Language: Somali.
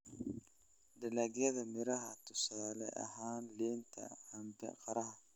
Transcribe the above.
Dalagyada miraha: tusaale ahaan, liinta, cambe, qaraha.